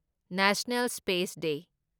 national space day